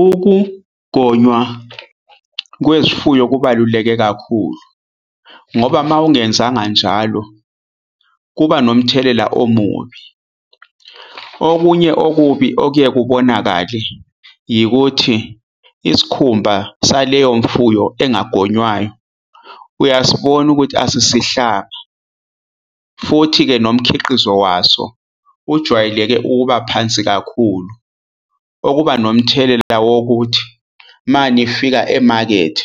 Ukugonywa kwezifuyo kubaluleke kakhulu ngoba uma ungenzanga njalo kuba nomthelela omubi. Okunye okubi okuye kubonakale yikuthi isikhumba saleyo mfuyo engagonywayo uyasibona ukuthi asisihlanga, futhi-ke nomkhiqizo waso ujwayeleke ukuba phansi kakhulu okuba nomthelela wokuthi uma nifika emakethe